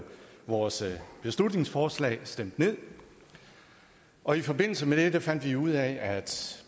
vores beslutningsforslag stemt ned og i forbindelse med det fandt vi ud af at